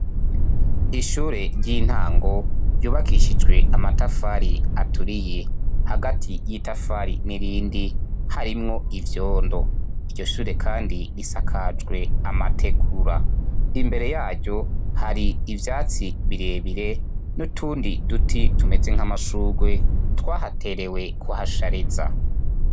Ishure ry'intango ryubakishijwe amatafari aturiye hagati yitafari nirindi harimwo ivyondo iryo shure kandi kandi risakajwe amategura imbere yaryo hari ivyatsi birebire nutundi duti tumeze nkamashugwe twahaterewe kuhashariza